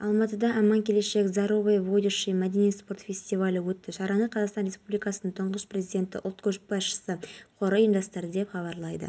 бұған дейін шымкентте мұнай өңдеу зауытына қарасты қоймалардың ішіндегі резервуардан өрттің шыққандығы хабарланған еді оныңсыйымдылығы шамамен мың текше метр және ол